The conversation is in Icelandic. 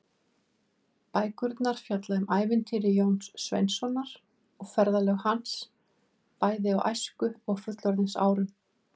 Bækurnar fjalla um ævintýri Jóns Sveinssonar og ferðalög hans, bæði á æsku- og fullorðinsárum.